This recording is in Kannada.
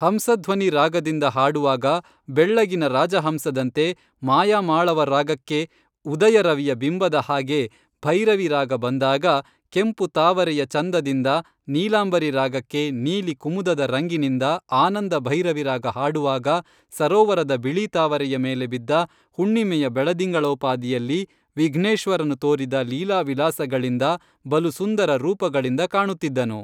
ಹಂಸಧ್ವನಿ ರಾಗದಿಂದ ಹಾಡುವಾಗ ಬೆಳ್ಳಗಿನ ರಾಜಹಂಸದಂತೆ ಮಾಯಾಮಾಳವ ರಾಗಕ್ಕೇ ಉದಯ ರವಿಯ ಬಿಂಬದಹಾಗೇ ಭೈರವಿ ರಾಗ ಬಂದಾಗ ಕೆಂಪು ತಾವರೆಯ ಚಂದದಿಂದ ನೀಲಾಂಬರಿ ರಾಗಕ್ಕೇ ನೀಲಿ ಕುಮುದದ ರಂಗಿ ನಿಂದ ಆನಂದ ಭೈರವಿರಾಗ ಹಾಡುವಾಗ ಸರೋವರದ ಬಿಳಿ ತಾವರೆಯ ಮೇಲೆ ಬಿದ್ದ ಹುಣ್ಣಿಮೆಯ ಬೆಳದಿಂಗಳೋಪಾದಿಯಲ್ಲಿ ವಿಘ್ನೇಶ್ವರನು ತೋರಿದ ಲೀಲಾವಿಲಾಸಗಳಿಂದ ಬಲುಸುಂದರ ರೂಪಗಳಿಂದ ಕಾಣುತ್ತಿದ್ದನು